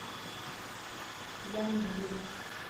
янджу